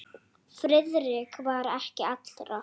Friðrik var ekki allra.